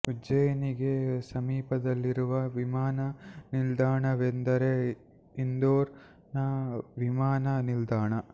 ಉಜ್ಜಯಿನಿ ಗೆ ಸಮೀಪದಲ್ಲಿರುವ ವಿಮಾನ ನಿಲ್ದಾಣವೆಂದರೆ ಇಂದೋರ್ ನ ವಿಮಾನ ನಿಲ್ದಾಣ